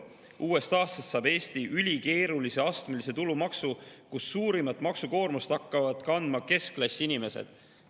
Uuest aastast saab Eesti ülikeerulise astmelise tulumaksu, kus suurimat maksukoormust hakkavad kandma keskklassi inimesed.